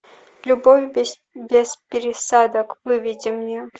любовь без пересадок выведи мне